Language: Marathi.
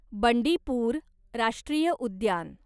बंडीपूर राष्ट्रीय उद्यान